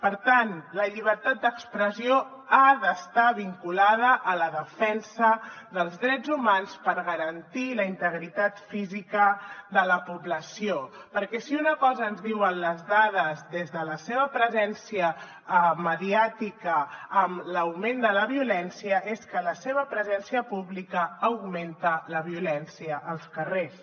per tant la llibertat d’expressió ha d’estar vinculada a la defensa dels drets humans per garantir la integritat física de la població perquè si una cosa ens diuen les dades des de la seva presència mediàtica amb l’augment de la violència és que la seva presència pública augmenta la violència als carrers